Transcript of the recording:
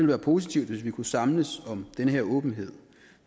være positivt hvis vi kunne samles om den her åbenhed